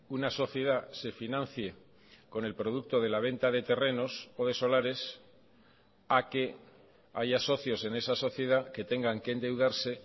una sociedad se financie con el producto de la venta de terrenos o de solares a que haya socios en esa sociedad que tengan que endeudarse